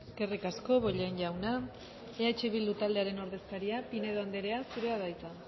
eskerrik asko bollain jauna eh bildu taldearen ordezkaria pinedo anderea zurea da hitza